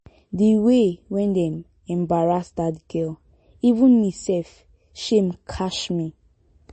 the way wey dem embarrass dat girl even me sef shame catch me